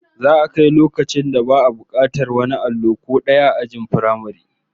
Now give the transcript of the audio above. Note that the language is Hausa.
Za'a kai loakcin da babu bukatar wani allo ko daya ajin firamare